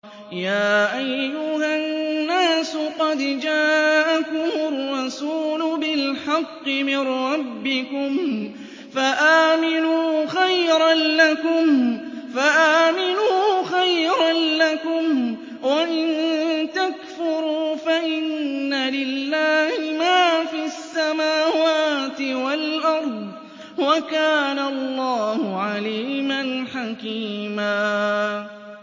يَا أَيُّهَا النَّاسُ قَدْ جَاءَكُمُ الرَّسُولُ بِالْحَقِّ مِن رَّبِّكُمْ فَآمِنُوا خَيْرًا لَّكُمْ ۚ وَإِن تَكْفُرُوا فَإِنَّ لِلَّهِ مَا فِي السَّمَاوَاتِ وَالْأَرْضِ ۚ وَكَانَ اللَّهُ عَلِيمًا حَكِيمًا